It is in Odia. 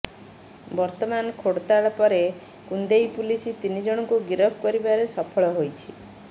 ବର୍ତ୍ତମାନ ଖୋଡ଼ତାଡ ପରେ କୁନ୍ଦେଇ ପୁଲିସ ତିନି ଜଣଙ୍କୁ ଗିରଫ କରିବାରେ ସଫଳ ହୋଇଛି